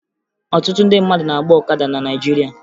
Ọtụtụ ndị mmadụ na-agba ọkada na Naịjirịa